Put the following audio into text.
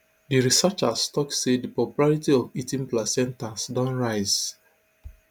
di researchers tok say di popularity of eating placentas don rise